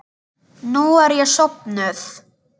Nú er ég sofnuð.